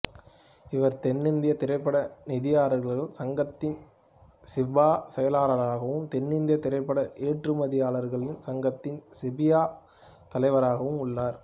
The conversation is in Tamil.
இவர் தென்னிந்திய திரைப்பட நிதியாளர்கள் சங்கத்தின் சிஃபா செயலாளராகவும் தென்னிந்திய திரைப்பட ஏற்றுமதியாளர்கள் சங்கத்தின் சிஃபியா தலைவராகவும் உள்ளார்